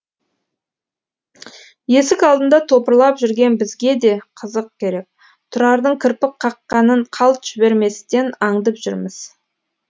есік алдында топырлап жүрген бізге де қызық керек тұрардың кірпік қаққанын қалт жіберместен аңдып жүрміз